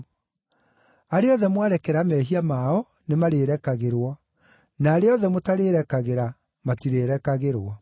Arĩa othe mwarekera mehia mao, nĩmarĩrekagĩrwo, na arĩa othe mũtarĩrekagĩra, matirĩrekagĩrwo.”